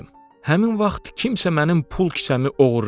Həmin vaxt kimsə mənim pul kisəmi oğurlayıb.